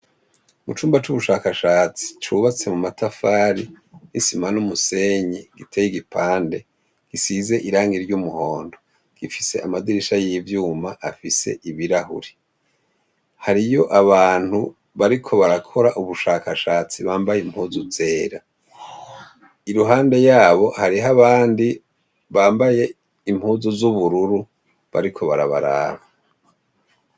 Mu cumba c'ubushakashatsi, cubatse mu matafari, isima n'umuseyi, giteye igipande, gisize irangi ry'umuhondo. Gifise amadirisha y'ivyuma afise ibirahuri. Hariyo abantu bariko barakora ubushakashatsi bambaye impuzu zera. Iruhande yabo, hariho abandi bambaye impuzu z'ubururu bariko barabaraba.